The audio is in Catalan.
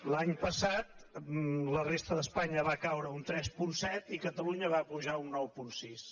l’any passat la resta d’espanya va caure un tres coma set i catalunya va pujar un nou coma sis